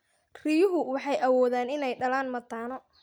Riyuhu waxay awoodaan inay dhalaan mataano.